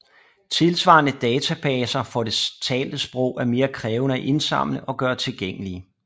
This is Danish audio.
Tilsvarende databaser for det talte sprog er mere krævende at indsamle og gøre tilgængelige